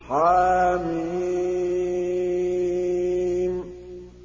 حم